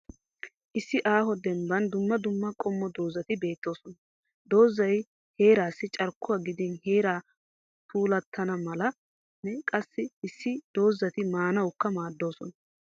Issi aaho dembban dumma dumma qommo doozati beettoosona. Doozzay heerassi carkkuwaa gidin heray puulattana malanne qassi issi issi doozzati maanawukka maaddoosona.